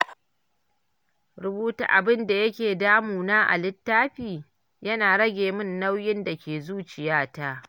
Rubuta abin da yake damuna a littafi, yana rage min nauyin da ke zuciyata.